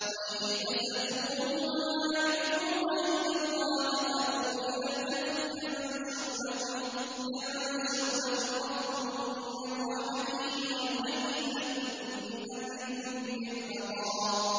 وَإِذِ اعْتَزَلْتُمُوهُمْ وَمَا يَعْبُدُونَ إِلَّا اللَّهَ فَأْوُوا إِلَى الْكَهْفِ يَنشُرْ لَكُمْ رَبُّكُم مِّن رَّحْمَتِهِ وَيُهَيِّئْ لَكُم مِّنْ أَمْرِكُم مِّرْفَقًا